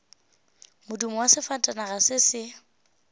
modumo wa sefatanaga se se